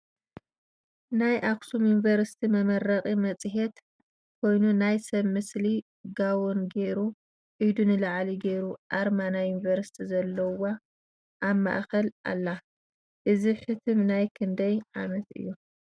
ናይ ኣክሱም ዩኒቨርሲቲ መመረቂ መፅሄት ኮይኑ ናይ ሰብ ምስሊ ጋቦን ጌሩ ኢዱ ንላዕሊ ጌሩ ኣርማ ናይ ዩኒቨርሲቲ ዘለዋ ኣብ ማእከላ ኣላ። እዚ ሕትም ናይ ክንደይ ዓመት እዩ ?